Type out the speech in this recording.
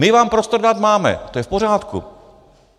My vám prostor dát máme, to je v pořádku.